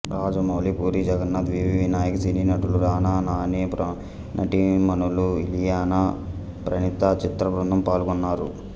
Rajamouli Puri Jagannadh V V Vinayak cine నటులు రానా నాని నటిమణులు ఇలియానా ప్రణీత చిత్రబృందం పాల్గొన్నారు